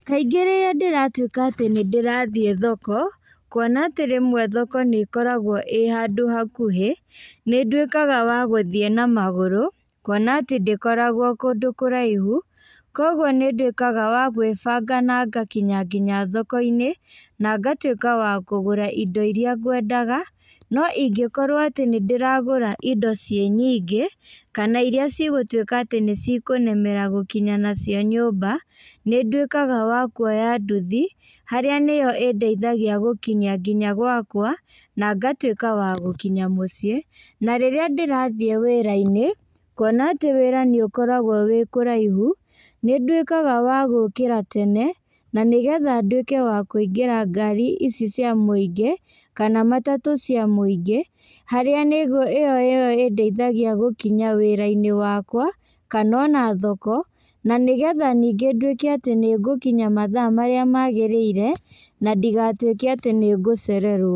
Kaingĩ rĩrĩa ndĩratuĩka atĩ nĩndĩĩrathiĩ thoko, kuona atĩ rĩmwe thoko nĩkoragwo ĩ handũ hakuhĩ, nĩ ndũĩkaga wa gũthiĩ na magũrũ, kuona atĩ ndĩkoragwo kũndũ kũraihu, koguo nĩndũĩkaga wa gwĩbanga na ngakinya nginya thokoinĩ, na ngatuĩka wa kũgũra indo iria ngwendaga, no ingĩkorwo atĩ nĩndĩragũra indo ciĩ nyingĩ, kana iria cigũtuĩka atĩ nĩcikũnemera gũkinya nacio nyũmba, nĩndũikaga wa kuoya nduthi, harĩa nĩyo ĩndeithagia gũkinya nginya gwakwa, na ngatuĩka wa gũkinya mũciĩ, na rĩrĩa ndĩrathiĩ wĩrainĩ, kuona atĩ wĩra nĩũkoragwo wĩ kũraihu, nĩndũĩkaga wa gũkĩra tene, na nĩgetha nduĩke wa kũingĩra ngari ici cia mũingĩ, kana matatũ cia mũingĩ, harĩa nĩgu ĩyo nĩyo ĩndeithagia gũkinya wĩrainĩ wakwa, kana ona thoko, na nĩgetha ningĩ nduĩke atĩ ningũkinya mathaa marĩa magĩrĩire, na ndigatuĩke atĩ nĩngũcererwo.